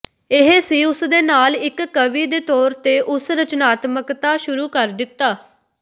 ਇਹ ਸੀ ਉਸ ਦੇ ਨਾਲ ਇਕ ਕਵੀ ਦੇ ਤੌਰ ਤੇ ਉਸ ਰਚਨਾਤਮਕਤਾ ਸ਼ੁਰੂ ਕਰ ਦਿੱਤਾ